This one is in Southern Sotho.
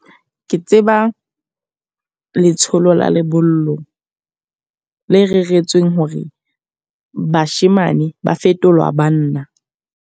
Ke tseba letsholo la lebollo le reretsweng hore bashemane ba fetolwa banna.